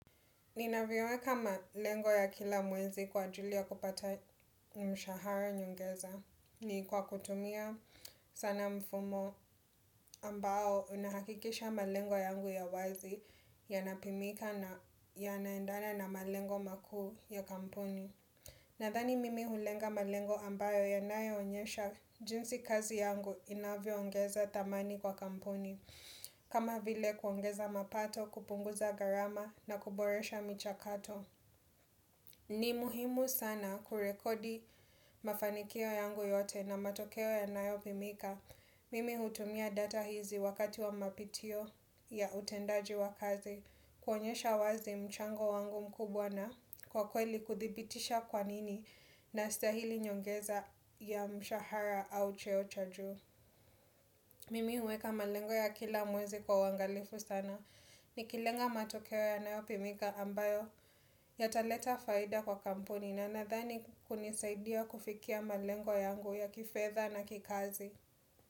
Ninaviweka malengo ya kila mwezi kwa ajili ya kupata mshahara nyongeza. Ni kwa kutumia sana mfumo ambao unahakikisha malengo yangu ya wazi yanapimika na yanaendana na malengo makuu ya kampuni. Nadhani mimi hulenga malengo ambayo yanayo onyesha jinsi kazi yangu inavyo ongeza dhamani kwa kampuni. Kama vile kuongeza mapato, kupunguza gharama na kuboresha michakato. Ni muhimu sana kurekodi mafanikio yangu yote na matokeo yanayo pimika. Mimi hutumia data hizi wakati wa mapitio ya utendaji wa kazi. Kuonyesha wazi mchango wangu mkubwa na kwa kweli kuthibitisha kwa nini. Nastahili nyongeza ya mshahara au cheo cha juu. Mimi huweka malengo ya kila mwezi kwa uangalifu sana. Nikilenga matokeo yanayopimika ambayo. Yataleta faida kwa kampuni na nadhani hunisaidia kufikia malengo yangu ya kifedha na kikazi.